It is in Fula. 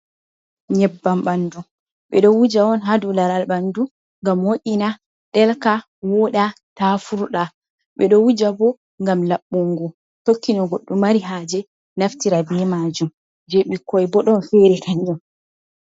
Nyebbam ɓanndu, ɓe ɗo wuja on haa dow laral ɓanndu. Ngam moƴina, ɗelka ,woɗa ta furɗa ,ɓe ɗo wuja bo ngam laɓɓungo, tokki no goɗɗo mari haaje naftira be maajum, jey ɓikkoy bo ɗon feri kanjum.